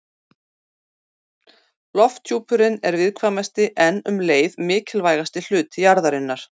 Lofthjúpurinn er viðkvæmasti en um leið mikilvægasti hluti jarðarinnar.